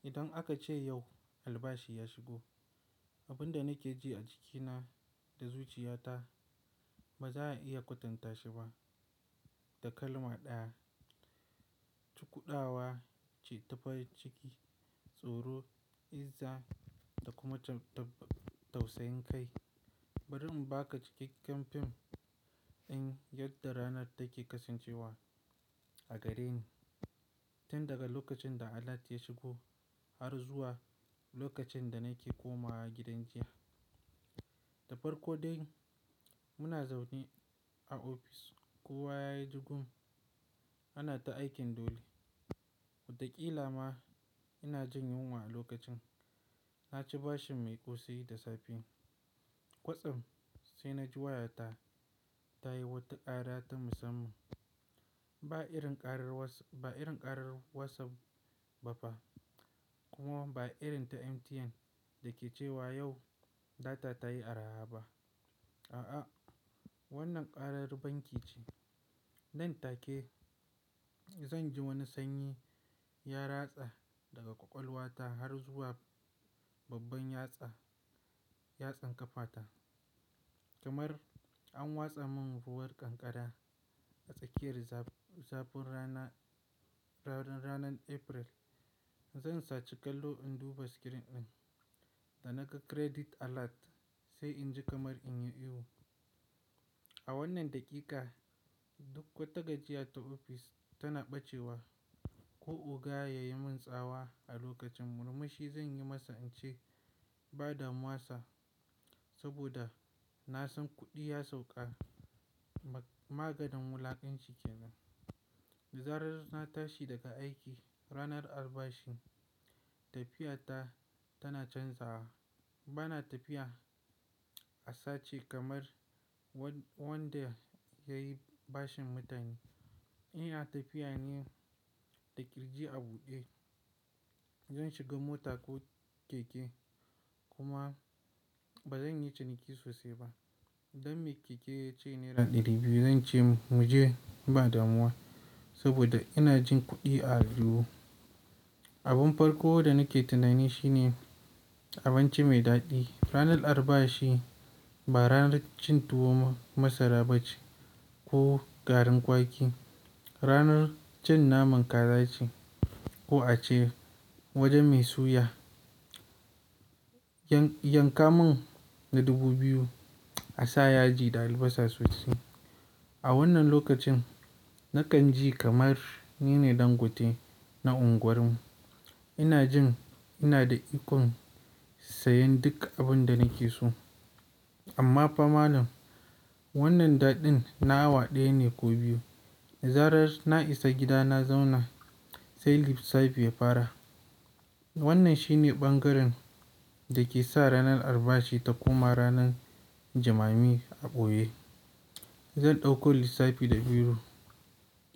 Idan aka ce yau albashi ya shigo, abin da nake ji a jikina da zuciyata ba za a iya kwatanta shi ba da kalma ɗaya. Cikudawa, cita farin ciki, tsoro, izza da kuma tausayin kai. Bari im baka cikakken fim in yadda ranar take kasancewa a gareni. Tin daga lokacin da alat ya shigo har zuwa lokacin da nake komawa gidan jiya. Da farko dai muna zaune a ofis kowa yayi jugun ana ta aikin dole. Watakila ma ina jin yunwa a lokacin. Na ci bashin mai ƙosai da safe. Kwatsam sai na ji wayata ta yi wata kara ta musamman. Ba irin karar WhatsApp ba fa kuma ba irin ta MTN dake cewa yau data ta yi araha ba. A'a, wannan karar banki ce. Nan take zan ji wani sanyi ya ratsa daga ƙwaƙwalwa ta har zuwa babban yatsa yatsan ƙafa ta. Kamar an watsa mun ruwan kankara a tsakiyar zafin ranar April. Zan saci kallo in duba screen ɗin da naga "Credit Alert" sai inji kamar in yi ihu. A wannan dakika duk wata gajiya ta ofi tana bacewa ko oga ya yi min tsawa a lokacin murmushi zan yi masa in ce ba damuwa sir saboda na san kuɗi ya sauka maganin wulaƙanci ke nan. Zaran na tashi daga aiki ranar albashi, tafiya ta tana canzawa. Bana tafiya a sace kamar wanda yayi bashin mutane. Ina tafi ne da ƙirji a buɗe. Zan shiga mota ko keke kuma ba zan yi ciniki sosai ba. Dan me keke ya ce naira ɗari biyu zan ce mu je ba damuwa saboda ina jin kuɗi a aljuhu. Abin farko da nake tunani shi ne abinci mai daɗi. Ranar albashi ba ranar cin tuwo masara ba ce ko garin kwaki. Ranar cin naman kaza ce ko ace wajen mai suya. Yanka mun na dubu biyu a sa yaji da albasa sosai. A wannan lokacin nakan ji kamar nine ɗan gote na unguwar mu. Ina jin ina da ikon sayan duk abunda nake so amma fa malam wannan daɗin na awa daya ne ko biyu da zaran na isa gida na zauna sai lissafi ya fara wannan shine bangaren da ke sa ranar albashi ta koma ranan jimami a ɓoye ko oga ya yi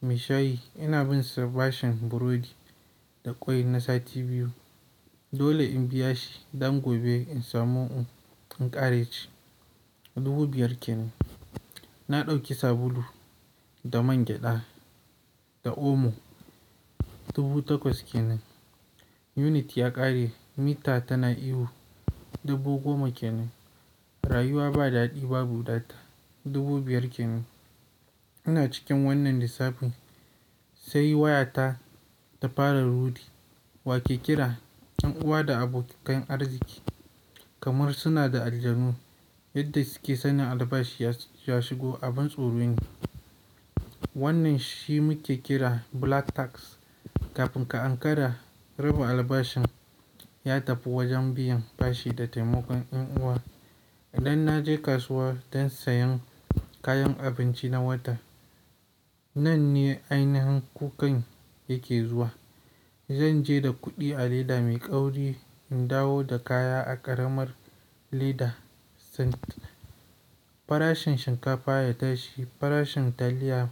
min tsawa a lokacin murmushe zan yi masa in ce ba damuwa sir saɓoda na san kuɗi ya sauka maganin wulaƙanci ke nan. Mai shayi ina binsa bashin burodi da ƙwai na sati biyu. Dole in biya shi dan gobe in samu inƙara ci. Dubu biyar kenan. Na ɗauki sabulu da man gyaɗa da omo dubu takwas kenan. Unity ya ƙare mita tana ihu dubu goma kenan. Rayuwa ba daɗi ba bu data dubu biyar kenan. Ina cikin wannan lissafin sai waya ta tafara ruɗe. Wa ke kira? 'Yan uwa da abokakan arziki kamar suna da aljanu yadda suke sanin albashi ya shigo a ban tsoro ne. Wannan shi muke kira "black tax". Kafin ka ankara rabin albashin ya tafi wajen biyan bashi da taimakon yan uwa. Idan na je kasuwa don sayan kayan abinci na wata. Nan ne ainihin kukan yake zuwa. Zan je da kuɗi a leda mai ƙauri in dawo da kaya a ƙaramar leda. Farashin shinkafa ya tashi, farashin taliya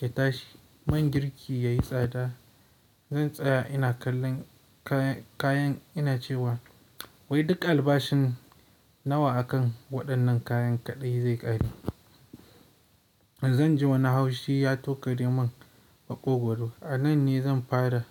ya tashi, man girki ya yi tsada. Zan tsaya ina kallon kayan ina cewa wai duk albashin nawa a kan waɗannan kayan kaɗai zai ƙare. Zan ji wani haushi ya tokare mun a ƙogwaro. A nan ne zan fara.